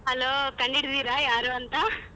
Hello ಕಂಡ್ಹಿಡ್ದಿದೀರಾ ಯಾರು ಅಂತ .